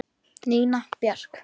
Nína Björk.